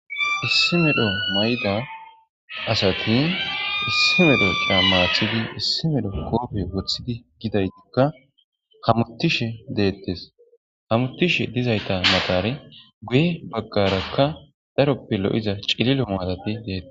Issi medho may'da asati issi medho daa maathidi issi medho koope wothidi gidaytikka hamuttishe deettes hamutishe dizayta matare guye baggarakka daroppe lo'iza cililo maadati deettes.